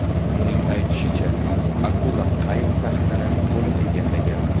Uning aytishicha, akula qayiq sahnini to‘liq egallgan.